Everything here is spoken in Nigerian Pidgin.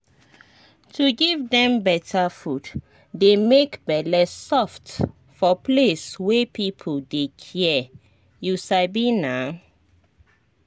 to give dem better food dey make bele soft for place wey people dey care you sabi naa.